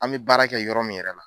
An bi baara kɛ yɔrɔ min yɛrɛ la